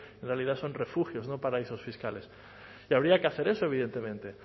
en realidad son refugios no paraísos fiscales que habría que hacer eso evidentemente